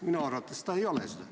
Minu arvates see ei ole seda.